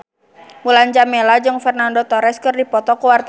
Mulan Jameela jeung Fernando Torres keur dipoto ku wartawan